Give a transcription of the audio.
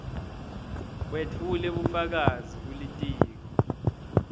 wetfule bufakazi kulitiko